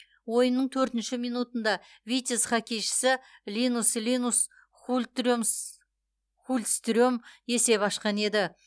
ойынның төртінші минутында витязь хоккейшісі линус хультстрем есеп ашқан еді